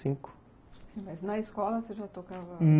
Sim, mas na escola você já tocava?